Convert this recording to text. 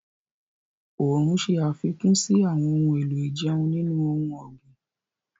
Oòrùn ṣe àfikún sí àwọn ohun èlò ìjẹun nínú ohun ọ̀gbìn.